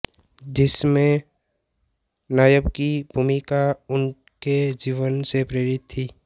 जिसमें नायक की भूमिका उनके जीवन से प्रेरित थी